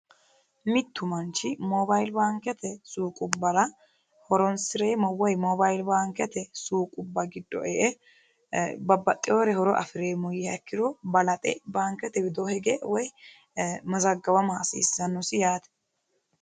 Mittu maichi mobili baanikete suuqubbara horonisireemo woy mobili baanikiete suuqubba giddo e"e babbaxxewore horo afireemo yiiha ikkiro balaxe baanikete widoo hige woy mazagawama hasiissannosi yaate